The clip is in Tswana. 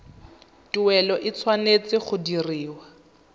tuelo e tshwanetse go dirwa